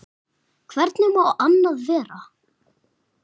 Hvernig má annað vera?